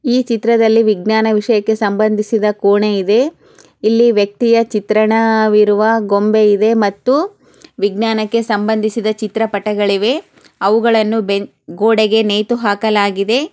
ಈ ಚಿತ್ರದಲ್ಲಿ ವಿಜ್ಞಾನ ವಿಷಯಕೆ ಸಬಂಧಿಸಿದ್ದ ಕೋಣೆ ಇದೆ. ಇಲ್ಲಿ ವ್ಯಕ್ತಿಯ ಚಿತ್ರಣ ಇರುವ ಗುಂಬೆ ಇವೆ ಮತ್ತು ವಿಜ್ಞಾನಕೆ ಸಬಂಧಿಸಿದ್ದಚಿತ್ರ ಪಟ್ಟೆಗಳಿವೆ. ಅವುಗಳನ್ನು ಬೆ-ಗೂಡೆಗೆ ನೇತು ಹಾಕ್ಲಗಿದೆ.